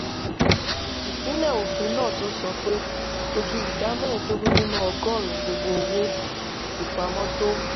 ìpínlẹ̀ òfin náà tún sọ pé kò ju ìdá mẹ́ẹ̀ẹ́dógún nínú ọgọ́rùn-ún gbogbo owó ìpamọ́ tó